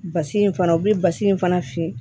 Basi in fana u bɛ basi in fana fiyɛ